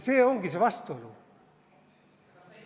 See ongi see vastuolu.